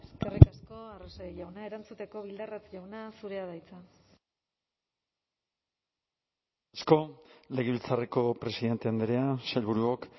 eskerrik asko eskerrik asko arrese jauna erantzuteko bildarratz jauna zurea da hitza asko legebiltzarreko presidente andrea sailburuok